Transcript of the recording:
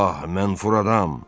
Ah, mən furaram.